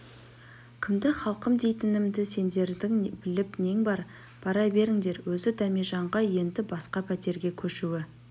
кімді халқым дейтінімді сендердің біліп нең бар бара беріңдер өзі дәмежанға енді басқа пәтерге көшуі